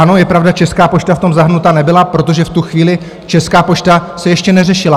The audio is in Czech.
Ano, je pravda, Česká pošta v tom zahrnuta nebyla, protože v tu chvíli Česká pošta se ještě neřešila.